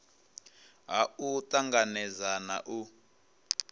ha u tanganedza na u